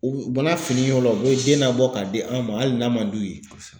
U u bana finiw la u bɛ den labɔ k'a di an ma hali n'a man d'u ye kosɛbɛ